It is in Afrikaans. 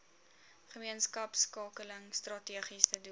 gemeenskapskakeling strategiese doel